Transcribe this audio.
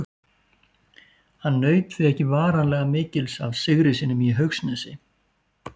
Hann naut því ekki varanlega mikils af sigri sínum í Haugsnesi.